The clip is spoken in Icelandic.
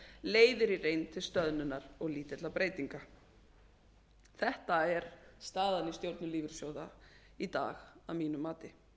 leiðir í reynd til stöðnunar og lítilla breytinga þetta er staðan í stjórnum lífeyrissjóða í dag að mínu mati